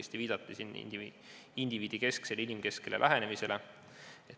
Siin viidati õigesti indiviidikesksele ja inimkesksele lähenemisele.